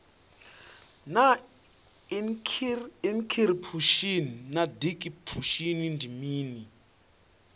naa inikhiripushini na dikhipushin ndi mini